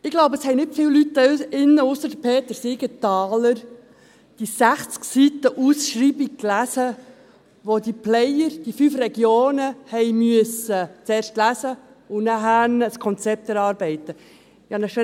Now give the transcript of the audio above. Ich glaube, es haben nicht viele Leute hier drinnen, ausser Peter Siegenthaler, die 60 Seiten der Ausschreibung gelesen, welche die Player der fünf Regionen zuerst lesen, um dann ein Konzept erarbeiten zu müssen.